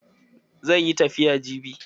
Zai yi tafiya jibi.